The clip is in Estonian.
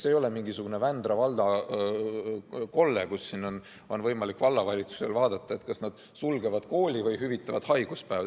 See ei ole mingisugune Vändra valla kolle, kus on võimalik vallavalitsusel vaadata, kas nad sulgevad kooli või hüvitavad haiguspäevi.